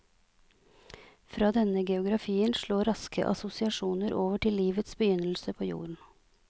Fra denne geografien slår raske assosiasjoner over til livets begynnelse på jorden.